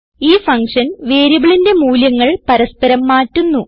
ഈ ഫങ്ഷൻ വേരിയബിളിന്റെ മൂല്യങ്ങൾ പരസ്പരം മാറ്റുന്നു